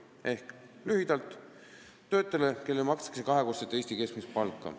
Ehk lühidalt: see on töötaja, kellele makstakse kahekordset Eesti keskmist palka.